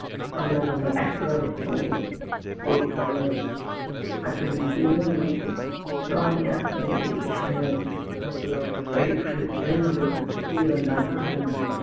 நம்மளை நம்ம active ஆ வச்சிக்கும் போது books உ அது இதுன்னு நம்மளுக்கு jolly ஆ இருக்குங்க education உ நம்மளோட bright future ஏ நம்மளுக்கு school இருந்து தாங்க ஆரம்பிக்குது